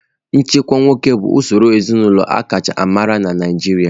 Nchịkwa nwoke bụ usoro ezinaụlọ aka chaa amara na Naịjirịa.